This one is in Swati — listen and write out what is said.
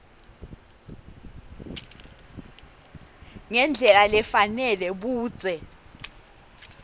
ngendlela lefanele budze